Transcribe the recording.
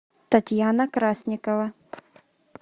татьяна красникова